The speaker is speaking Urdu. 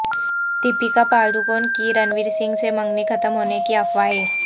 دیپکا پڈوکون کی رنویر سنگھ سے منگنی ختم ہونے کی افواہیں